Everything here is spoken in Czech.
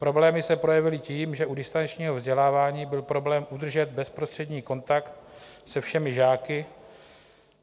Problémy se projevily tím, že u distančního vzdělávání byl problém udržet bezprostřední kontakt se všemi žáky.